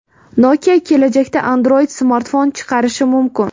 Nokia kelajakda Android-smartfon chiqarishi mumkin.